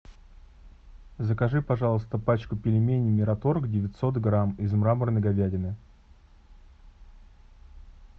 закажи пожалуйста пачку пельменей мираторг девятьсот грамм из мраморной говядины